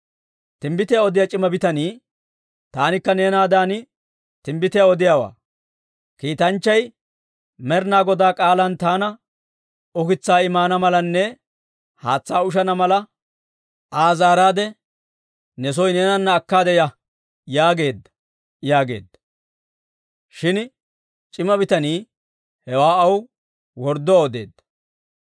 Timbbitiyaa odiyaa c'ima bitanii, «Taanikka neenaadan timbbitiyaa odiyaawaa. Kiitanchchay Med'inaa Goday k'aalan taana, ‹Ukitsaa I maana malanne haatsaa ushana mala, Aa zaaraadde ne soo neenana akkaade ya› yaageedda» yaageedda. Shin c'ima bitanii hewaa aw wordduwaa odeedda.